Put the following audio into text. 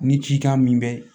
Ni cikan min bɛ